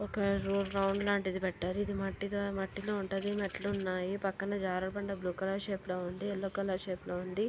ఒక road round లాంటిది ఇది మట్టితో మట్టిలో ఉంటది. మెట్టులున్నాయి. పక్కన జారుడుబండ బ్లూ కలర్ షేప్ లో ఉంది. యెల్లో కలర్ షేప్ లో ఉంది.